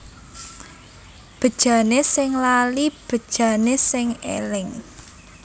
Bejane sing lali bejane sing eling